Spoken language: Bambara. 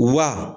Wa